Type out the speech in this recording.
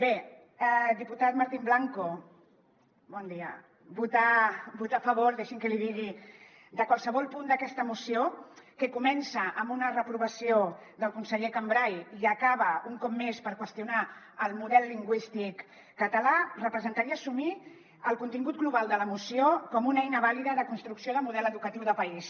bé diputat martín blanco bon dia votar a favor deixi’m que l’hi digui de qualsevol punt d’aquesta moció que comença amb una reprovació del conseller cambray i acaba un cop més per qüestionar el model lingüístic català representa·ria assumir el contingut global de la moció com una eina vàlida de construcció de model educatiu de país